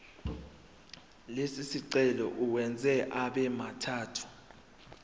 lesicelo uwenze abemathathu